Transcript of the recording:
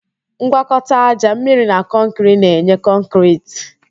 Ngwakọta ájá, mmiri na kọnkịrị na-enye kọnkịriti